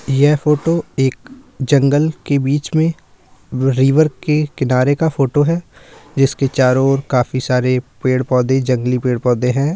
ये फोटो एक जंगल के बीच में रिवर के किनारे का फोटो है जिसके चारो और काफी सारे पेड़-पोधे जगली पेड़ पोधे हैं।